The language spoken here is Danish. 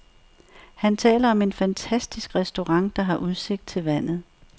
Han taler om en fantastisk restaurant, der har udsigt til vandet.